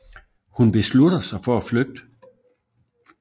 Hun beslutter sig for at flygte